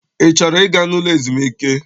Ị chọrọ ịga n'ụlọ ezumike?